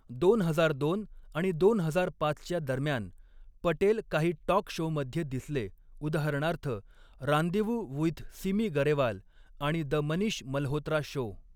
दोन हजार दोन आणि दोन हजार पाचच्या दरम्यान, पटेल काही टॉक शोमध्ये दिसले उदाहरणार्थ 'रांदेवू वुइथ सिमी गरेवाल' आणि 'द मनीष मल्होत्रा शो'.